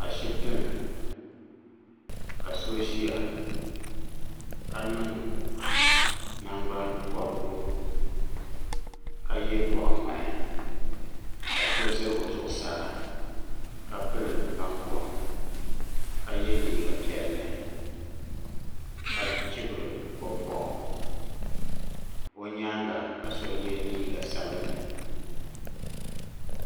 a shitini ka so zia ka ninnaŋgban pobirika yɛ boɣu ŋmahi ka so zɛ o zuɣusaa ka pili nan komka yɛ liiga piɛli ka chibiri o boɣu o nyaanŋa ka so yɛ liiga sabinli